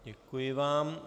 Děkuji vám.